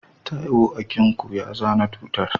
Taiwo akinku ya zana tutar.